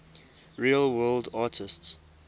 real world artists